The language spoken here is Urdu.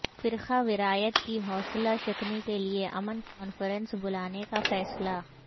فرقہ واریت کی حوصلہ شکنی کے لیے امن کانفرنس بلانے کا فیصلہ